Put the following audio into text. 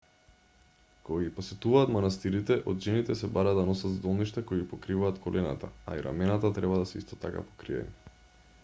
кога ги посетуваат манастирите од жените се бара да носат здолништа кои ги покриваат колената а и рамената треба да се исто така покриени